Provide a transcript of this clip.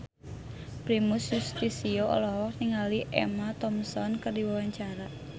Primus Yustisio olohok ningali Emma Thompson keur diwawancara